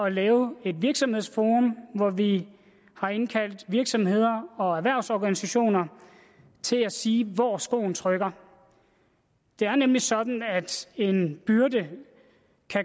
at lave et virksomhedsforum hvor vi har indkaldt virksomheder og erhvervsorganisationer til at sige hvor skoen trykker det er nemlig sådan at en byrde